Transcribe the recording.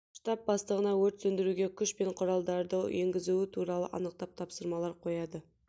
штаб бастығына өрт сөндіруге күш пен құралдарды енгізуі туралы анықтап тапсырмалар қояды